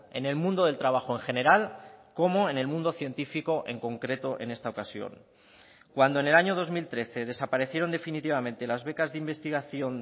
en el mundo del trabajo en general como en el mundo científico en concreto en esta ocasión cuando en el año dos mil trece desaparecieron definitivamente las becas de investigación